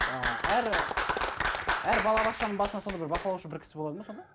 ыыы әр әр балабақшаның басына сонда бір бақылаушы бір кісі болады ма сонда